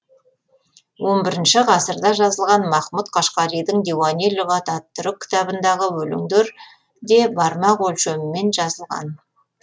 он бірінші ғасырда жазылған махмұт қашқаридің диуани лұғат ат түрк кітабындағы өлеңдер де бармақ өлшемімен жазылған